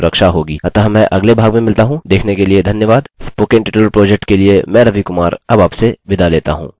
अतः मैं अगले भाग में मिलता हूँ देखने के लिए धन्यवाद स्पोकन ट्यूटोरियल प्रोजेक्ट के लिए मैं रवि कुमार अब आपसे विदा लेता हूँ